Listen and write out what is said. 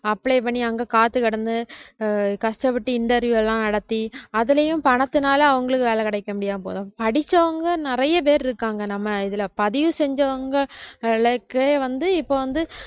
apply பண்ணி அங்க காத்துகிடந்து அஹ் கஷ்டப்பட்டு interview லாம் நடத்தி அதுலயும் பணத்தினால அவங்களுக்கு வேலை கிடைக்க முடியாம படிச்சவங்க நிறைய பேர் இருக்காங்க நம்ம இதுல பதிவு செஞ்சவங்களுக்கே வந்து இப்ப வந்து